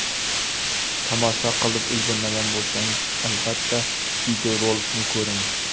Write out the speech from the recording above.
Tomosha qilib ulgurmagan bo‘lsangiz, albatta videorolikni ko‘ring.